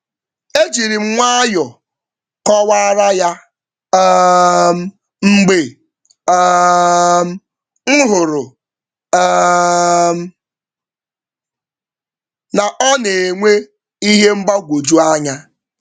E jírím nwayọọ kọwaara ya um mgbe um m hụrụ um na ọ nenwe ihe mgbagwoju anya